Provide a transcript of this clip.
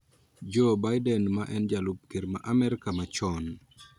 Joe Biden ma en jalup ker ma Amerka machon